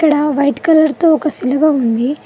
ఇక్కడ white colour తో ఒక సిలువ ఉంది